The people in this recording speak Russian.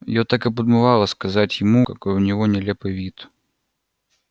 её так и подмывало сказать ему какой у него нелепый вид